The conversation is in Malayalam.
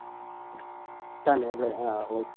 തന്നെ ലെ ആഹ് Okay